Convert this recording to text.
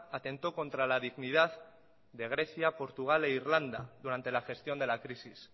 atentó contra la dignidad de grecia portugal e irlanda durante la gestión de la crisis